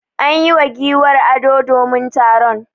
An yi wa giwar ado domin taron.